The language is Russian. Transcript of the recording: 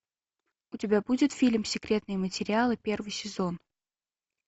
у тебя будет фильм секретные материалы первый сезон